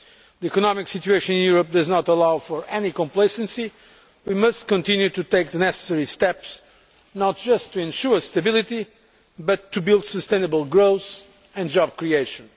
The economic situation in Europe does not allow for any complacency, and we must continue to take the necessary steps not just to ensure stability but to build sustainable growth and job creation.